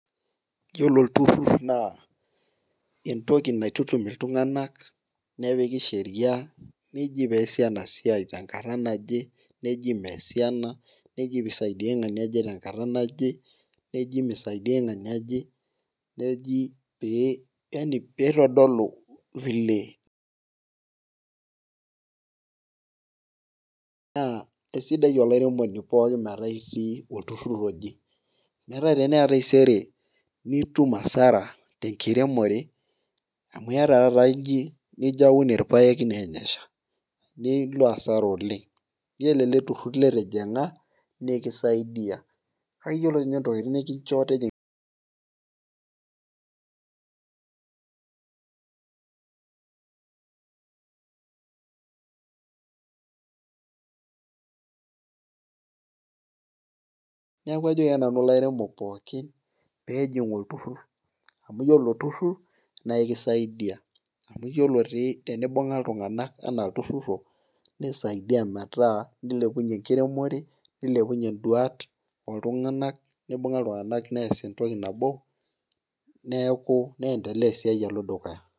Iyiolo olturur naa entoki naitutum iltunganak nepiki Sheria, neji peesi ena siai, tenkata naje, neji meesi ena. neji pee isaidiae ng'ani oje tenkata naje, neji nisaidia ng'ania oje. neji pee. neji pee yaani pee itodolu vilenaa isaidia olairemoni pookin. metaa itii olturur oje. neeku teneya taisere nitum asara tenkiremore. amu iyata taata Niko aun irpaek neeny esha. nilp asara oleng. iyiolo ele tururur litijinga nikisaidia kake iyiolo ninye entoki nikincho tijing'aneeku ajoki ake nanu ilaremok pookin pee eijing llturur. amu iyiolo ilo tururur naa ekisaidia. amu iyiolo dii tenimbung'a iltunganak anaa oltururur obo. nisaidia metaa nilepunye enkiremore nilepunye duat ooltunganak .nibunga iltunganak nees entoki nabo. neeku neendelea esiai alo dukuya.